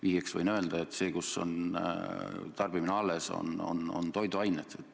Vihjeks võin öelda, et tarbimine on alles just toiduainesektoris.